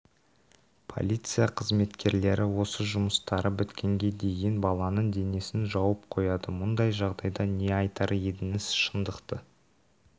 полиция қызметкерлері өз жұмыстары біткенге дейін баланың денесін жауып қояды мұндай жағдайда не айтар едіңіз шындықты